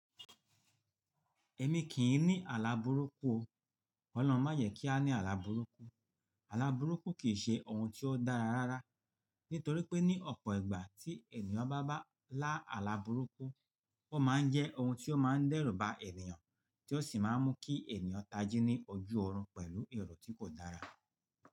Èmi kì í ní àlabùrúkù o. Ọlọ́run má yẹ kí a ní àlabùrúkù. Àlabùrúkù kì í ṣe ohun tí ó dára rárá, nítorí pé ní ọ̀pọ̀ ìgbà tí ènìyàn bá bá lá àlabùrúkù, ó má ń jẹ́ ohun tí ó má ń dẹ́rù ba ènìyàn, tí ó sì má ń mú kí ènìyàn tajé ní ojú ọ̀run pẹ̀lú èrò tí kò dára.